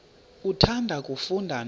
uthanda kufunda nto